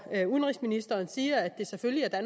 udenrigsministeren siger at det selvfølgelig er